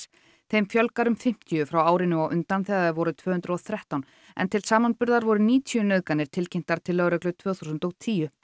þeim fjölgar um fimmtíu frá árinu á undan þegar þær voru tvö hundruð og þrettán en til samanburðar voru níutíu nauðganir tilkynntar til lögreglu tvö þúsund og tíu